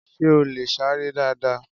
Sé o lè sáré dáadáa?